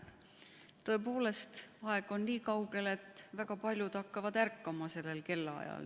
Tõepoolest, aeg on niikaugel, et väga paljud hakkavad sellel kellaajal ärkama.